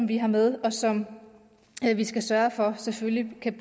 vi har med og som vi skal sørge for selvfølgelig kan